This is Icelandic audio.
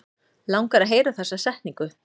Langar að heyra þessa setningu.